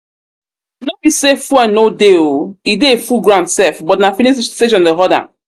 no be say fuel no dey oo e dey full ground sef but na filling station dey horde am